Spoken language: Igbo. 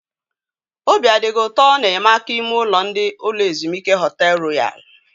Obi a dị gị ụtọ na enyemaka ime ụlọ ndị ụlọ ezumike Họtel Royal?